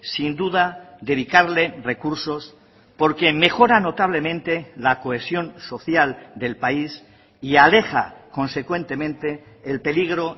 sin duda dedicarle recursos porque mejora notablemente la cohesión social del país y aleja consecuentemente el peligro